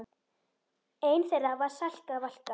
Ein þeirra var Salka Valka.